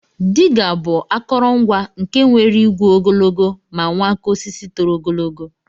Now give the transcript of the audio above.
Diga bu akọrọ ngwa nke nwere igwe ogologo ma nwee aka osisi toro ogologo.